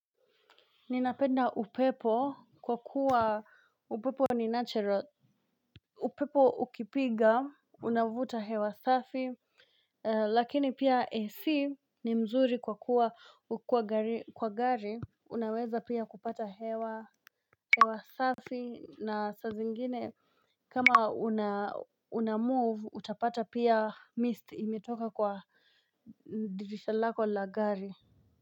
Ninapenda upepo kwa kuwa upepo ni natural. Upepo ukipiga unavuta hewa safi. Lakini pia AC ni mzuri kwa kuwa kwa gari unaweza pia kupata hewa. Hewa safi na sa zingine kama unamove utapata pia mist imetoka kwa dirisha lako la gari.